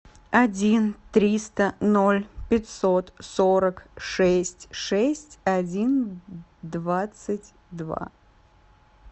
один триста ноль пятьсот сорок шесть шесть один двадцать два